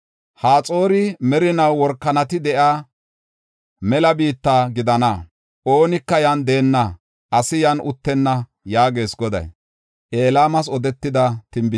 Haxoori merinaw workanati de7iya mela biitta gidana. Oonika yan deenna; asi yan uttenna” yaagees Goday.